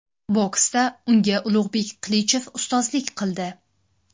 Boksda unga Ulug‘bek Qilichev ustozlik qildi.